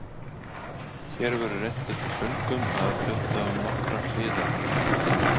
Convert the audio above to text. Hér verður reynt eftir föngum að fjalla um nokkrar hliðar hennar.